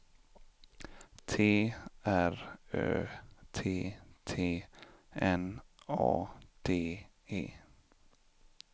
T R Ö T T N A D E